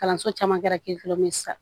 Kalanso caman kɛra sisan